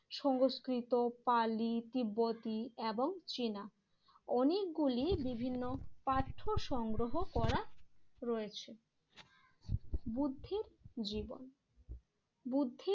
সংস্কৃত, পালি, তিব্বতি এবং চেনা অনেকগুলি বিভিন্ন পাঠ্য সংগ্রহ করা রয়েছে। বুদ্ধির জীবন বুদ্ধির